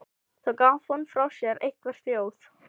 Þá gaf hún frá sér eitthvert hljóð.